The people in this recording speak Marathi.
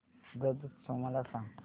ब्रज उत्सव मला सांग